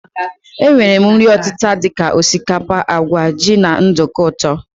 E nwere nri ọtịta dika osikapa, àgwà, jị na nduku ụtọ.